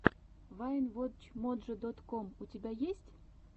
вайн вотч моджо дот ком у тебя есть